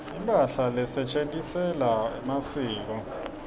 imphahla lesetjentisela masiko